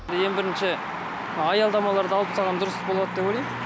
ең бірінші аялдамаларды алып тастаған дұрыс болады деп ойлаймын